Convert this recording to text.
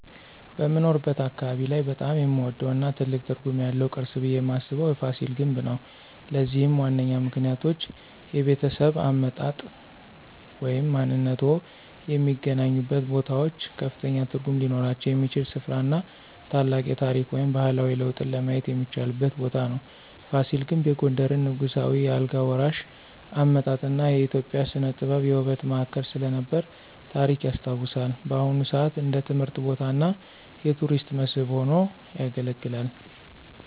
በምኖርበት አካባቢ ላይ በጣም የምወደው እና ትልቅ ትርጉም ያለው ቅርስ ብየ ማስበው የፋሲል ግንብ ነው። ለዚህም ዋነኛ ምክንያቶች -የቤተሰብ አመጣጥ ወይም ማንነትዎ የሚገናኙበት ቦታዎች ከፍተኛ ትርጉም ሊኖራቸው የሚችል ሥፍራ እና ታላቅ የታሪክ ወይም ባህላዊ ለውጥን ለማየት የሚቻልበት ቦታ ነው። ፋሲል ግንብ የጎንደርን ንጉሳዊ የአልጋ ወራሽ አመጣጥ እና የኢትዮጵያ ሥነ-ጥበብ የውበት ማዕከል ስለነበረ ታሪክ ያስታውሳል። በአሁን ሰአት እንደ ትምህርት ቦታ እና የቱሪስት መስህብ ሆኖ ያገለግላል።